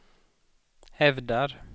hävdar